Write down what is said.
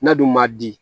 N'a dun ma di